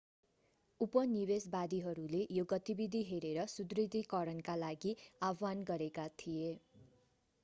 उपनिवेशवादीहरूले यो गतिविधि हेरेर पनि सुदृढीकरणका लागि आह्वान गरेका थिए